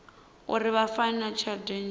uri vha fainiwe tshelede nnzhi